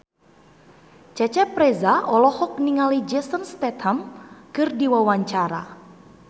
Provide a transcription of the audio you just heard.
Cecep Reza olohok ningali Jason Statham keur diwawancara